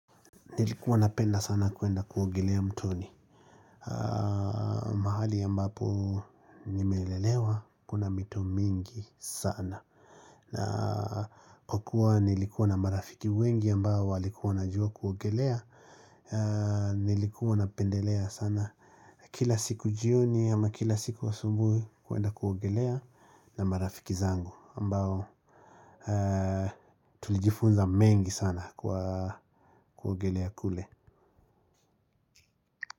Nilikuwa napenda sana kuenda kuogelea mtoni. Mahali ambapo nimelelewa kuna mito mingi sana na kukua nilikuwa na marafiki wengi ambao walikuwa wanajua kuogelea. Nilikuwa napendelea sana kila siku jioni ama kila siku asubui kuenda kuogelea na marafiki zangu ambao tulijifunza mengi sana kuogelea kule.